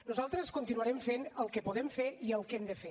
nosaltres continuarem fent el que podem fer i el que hem de fer